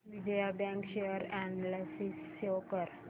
Vijaya bank share analysis show कर